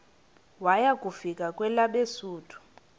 waya kufika kwelabesuthu